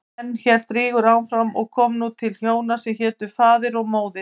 Enn hélt Rígur áfram og kom nú til hjóna sem hétu Faðir og Móðir.